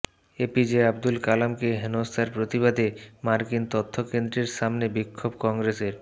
APJ Abdul কালামকে হেনস্থার প্রতিবাদে মার্কিন তথ্যকেন্দ্রের সামনে বিক্ষোভ কংগ্রেসের